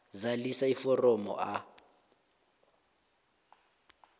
zalisa iforomo a